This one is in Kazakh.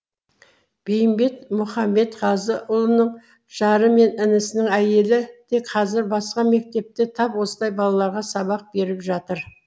бейімбет мұхамедқазыұлының жары мен інісінің әйелі де қазір басқа мектепте тап осылай балаларға сабақ беріп жатыр